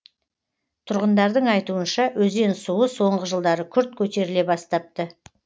тұрғындардың айтуынша өзен суы соңғы жылдары күрт көтеріле бастапты